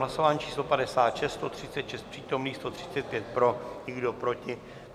Hlasování číslo 56, 136 přítomných, 135 pro, nikdo proti.